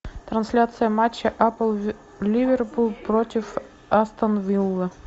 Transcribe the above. трансляция матча апл ливерпуль против астон виллы